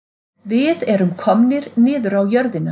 Við erum komnir niður á jörðina